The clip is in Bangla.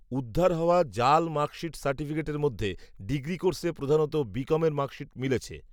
উদ্ধার হওয়া জাল মার্কশিট সার্টিফিকেটের মধ্যে, ডিগ্রি কোর্সে প্রধানত বি কমের মার্কশিট মিলেছে